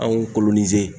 Anw kolo nize